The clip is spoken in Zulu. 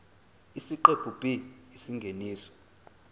isiqephu b isingeniso